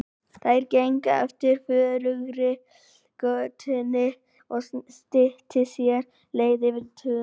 Þær gengu eftir forugri götunni og styttu sér leið yfir túnið.